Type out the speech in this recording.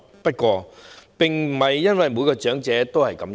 不過，並不是每位長者也是如此。